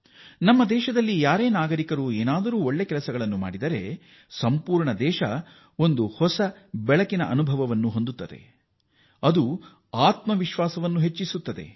ನಾವು ಯಾರೇ ಭಾರತೀಯರು ಏನಾದರೂ ಗಣನೀಯ ಸಾಧನೆ ಮಾಡಿದಾಗ ಇಡೀ ದೇಶವೇ ಹೊಸ ಚೈತನ್ಯ ಪಡೆಯುತ್ತದೆ ಮತ್ತು ಆತ್ಮ ವಿಶ್ವಾಸ ರೂಢಿಸಿಕೊಳ್ಳುತ್ತದೆ